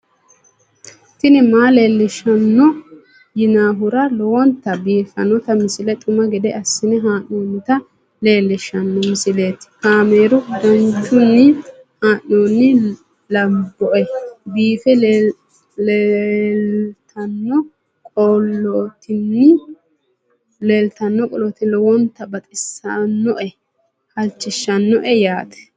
tini maa leelishshanno yaannohura lowonta biiffanota misile xuma gede assine haa'noonnita leellishshanno misileeti kaameru danchunni haa'noonni lamboe biiffe leeeltannoqolten lowonta baxissannoe halchishshanno yaate